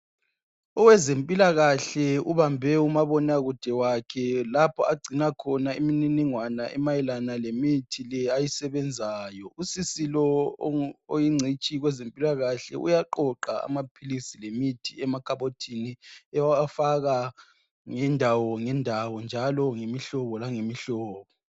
Owezempilakahle ubambe umabonakude wakhe lapho agcina khona imininingwane emayelane lemithi le ayisebenzayo. Usisi lo oyingcitshi kwezempilakahle uyaqoqa amaphilisi lemithi emakhabothini ewafaka ngendawo ngendawo njalo ngemihlobo langemihlobo .